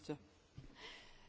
Frau Präsidentin!